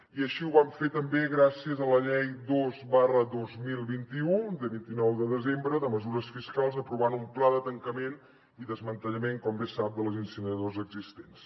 i així ho van fer també gràcies a la llei dos dos mil vint u de vint nou de desembre de mesures fiscals aprovant un pla de tancament i desmantellament com bé sap de les incineradores existents